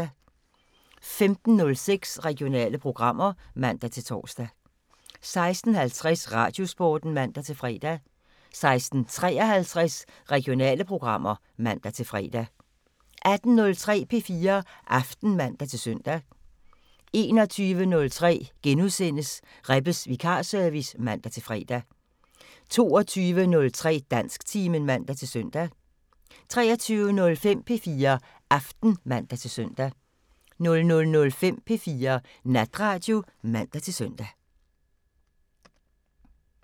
15:06: Regionale programmer (man-tor) 16:50: Radiosporten (man-fre) 16:53: Regionale programmer (man-fre) 18:03: P4 Aften (man-søn) 21:03: Rebbes Vikarservice *(man-fre) 22:03: Dansktimen (man-søn) 23:05: P4 Aften (man-søn) 00:05: P4 Natradio (man-søn)